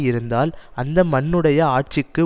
இருந்தால் அந்த மன்னனுடைய ஆட்சிக்கு